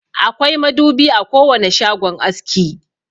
Akwai madubi a kowane shagon aski.